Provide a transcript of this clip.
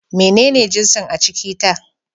Menene jinsin a ciki ta?